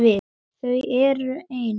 Þau eru ein.